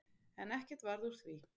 En ekkert varð úr því.